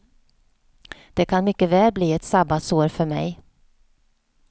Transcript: Det kan mycket väl bli ett sabbatsår för mig.